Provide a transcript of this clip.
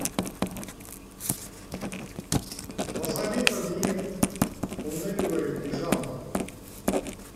посоветуй мне фланелевая пижама